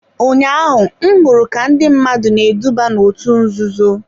Ụnyaahụ m hụrụ ka ndị mmadụ na-eduba n'òtù nzuzo.